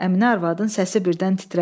Əminə arvadın səsi birdən titrədi.